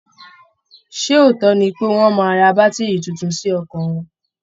Ṣé òótọ́ ni pé wọ́n máa ra bátìrì tuntun sí ọkọ̀ wọn